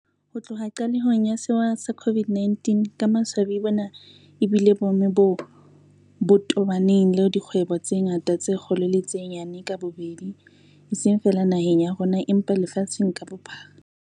Ho tloha qalehong ya sewa sa COVID-19, ka maswabi bona ebile boemo boo bo tobaneng le dikgwebo tse ngata tse kgolo le tse nyane ka bobedi, eseng feela naheng ya rona empa lefatsheng ka bophara.